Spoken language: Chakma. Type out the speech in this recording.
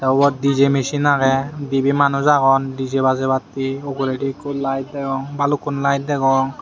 ubot DJ mesin agey dibey manuj agon DJ bajebatte uguredi ikko layet degong balukkun layet degong.